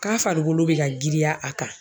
Ka farikolo be ka giriya a kan.